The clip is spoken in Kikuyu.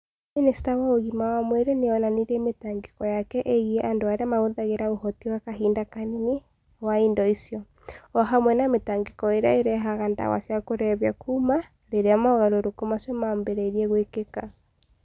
Minista wa ũgima wa mwĩrĩ nĩ onanirie mĩtangĩko yake ĩgiĩ andũ arĩa mahũthagĩra ũhoti wa kahinda kanini wa indo icio, o hamwe na mĩtangĩko ĩrĩa ĩrehaga ndawa cia kũrebia kuuma rĩrĩa mogarũrũku macio maambĩrĩirie gwĩkĩka